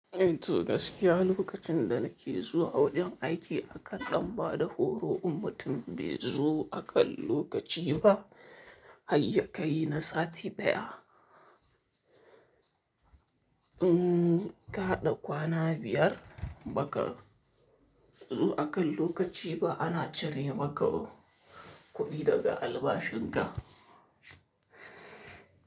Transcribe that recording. Eh to gaskiya lokacin da nake zuwa wujen aiki akan ɗan ba da horo, in mutun bai zo akan lokaci ba. Hayya ka yi na sati ɗaya. Mm ka haɗa kwana biyar ba ka zo akan lokaci ba, ana cire maka kuɗi daga albashin ka.